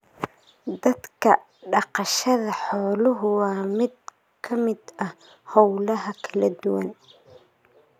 Dadka, dhaqashada xooluhu waa mid ka mid ah hawlaha kala duwan.